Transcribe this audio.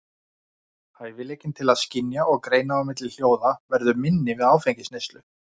Hæfileikinn til að skynja og greina á milli hljóða verður minni við áfengisneyslu.